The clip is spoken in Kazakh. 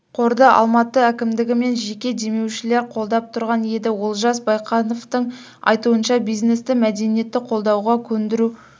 қорды алматы әкімдігі мен жеке демеушілер қолдап тұрған еді олжас байқановтың айтуынша бизнесті мәдениетті қолдауға көндіру